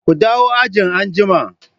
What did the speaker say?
Ku dawo ajin anjima.